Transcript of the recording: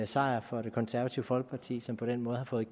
sejr for det konservative folkeparti som på den måde har fået